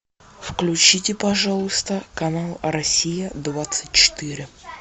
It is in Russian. включите пожалуйста канал россия двадцать четыре